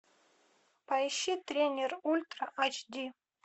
поищи тренер ультра аш ди